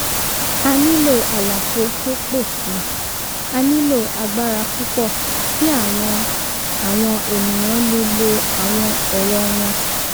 a nílò àlàfo tó pò si; a nílò agbára púpọ̀ kí àwọn àwọn ènìyàn lè lo àwọn ẹ̀rọ wọn